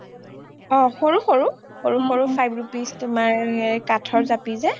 অ সৰু সৰু five rupees তোমাৰ কাঠৰ জাপি যে